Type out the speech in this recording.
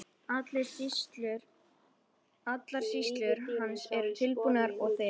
Allar skýrslur hans eru tilbúningur og þegar